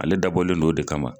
Ale dabɔlen don o de kama.